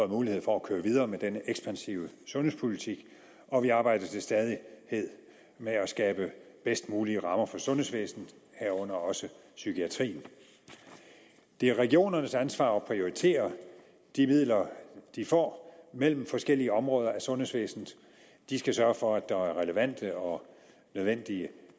mulighed for at køre videre med den ekspansive sundhedspolitik og vi arbejder til stadighed med at skabe de bedst mulige rammer for sundhedsvæsenet herunder også psykiatrien det er regionernes ansvar at prioritere de midler de får mellem forskellige områder af sundhedsvæsenet de skal sørge for at der er relevante og nødvendige